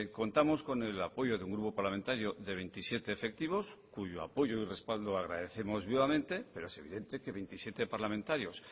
contamos con el apoyo de un grupo parlamentario de veintisiete efectivos cuyo apoyo y respaldo agradecemos vivamente pero es evidente que veintisiete parlamentarios